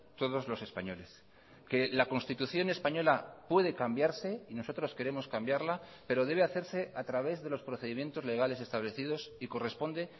todos los españoles que la constitución española puede cambiarse y nosotros queremos cambiarla pero debe hacerse a través de los procedimientos legales establecidos y corresponde